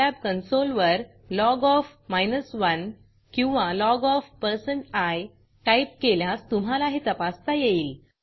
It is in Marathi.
सिलाब कन्सोल साईलॅब कॉन्सोल वर लॉग ओएफ 1 किंवा लॉग of160i टाईप केल्यास तुम्हाला हे तपासता येईल